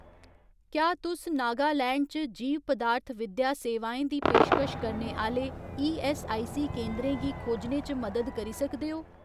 क्या तुस नागालैंड च जीव पदार्थ विद्या सेवाएं दी पेशकश करने आह्‌ले ईऐस्सआईसी केंदरें गी खोजने च मदद करी सकदे ओ ?